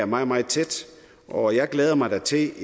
meget meget tæt og jeg glæder mig da til